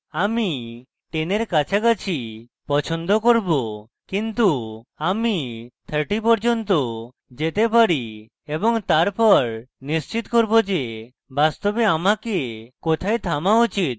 আমি 10 এর কাছাকাছি পছন্দ করব কিন্তু আমি 30 পর্যন্ত যেতে পারি এবং তারপর নিশ্চিত করব যে বাস্তবে আমাকে কোথায় থামা উচিত